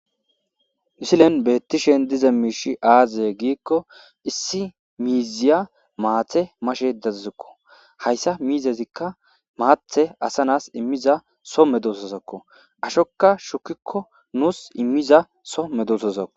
mussilen beettishen diza miishi aazye giikko issi miiziya maathe mashe dazuzikko hayssa miizezikka maathe asanas immiza so medusozakko ashokka shukikko nuus immiza so medusozakko